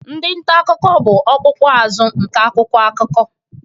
Ndị nta akụkọ bụ ọkpụkpụ azụ nke akwụkwọ akụkọ.